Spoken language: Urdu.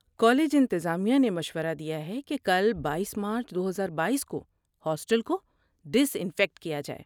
کالج انتظامیہ نے مشورہ دیا ہے کہ کل بائیس مارچ دوہزار بائیس کو ہاسٹل کو ڈس انفیکٹ کیا جائے